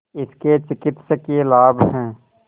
इसके चिकित्सकीय लाभ हैं